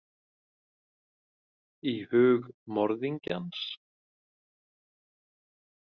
Í hug morðingjans?